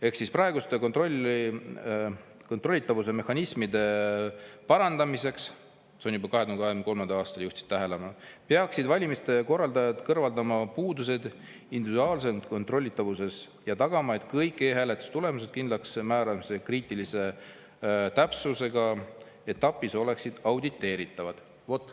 Ehk siis: praeguste kontrollitavuse mehhanismide parandamiseks – sellele juba 2023. aastal juhiti tähelepanu – peaksid valimiste korraldajad kõrvaldama puudused individuaalses kontrollitavuses ja tagama, et kõik e-hääletuse tulemuste kindlaksmääramise kriitilise täpsusega etapid oleksid auditeeritavad.